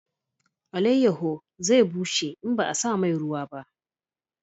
Alayaho zai bushe in ba a sa mai ruwa ba